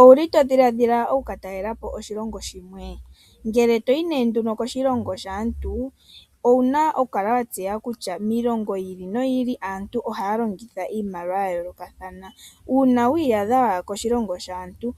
Owu li to dhiladhila oku ka talela po oshilongo shimwe? Ngele to yi koshilongo shaantu owu na okukala wa tseya kutya miilongo yi ili noyi ili aantu ohaya longitha iimaliwa ya yoolokathana. Uuna wi iyadha wa ya koshilongo shaantu